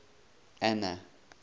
anna